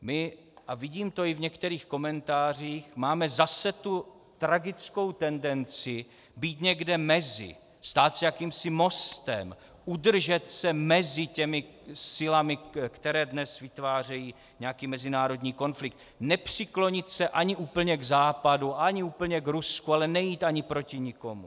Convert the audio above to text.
My, a vidím to i v některých komentářích, máme zase tu tragickou tendenci být někde mezi, stát se jakýmsi mostem, udržet se mezi těmi silami, které dnes vytvářejí nějaký mezinárodní konflikt, nepřiklonit se ani úplně k Západu, ani úplně k Rusku, ale nejít ani proti nikomu.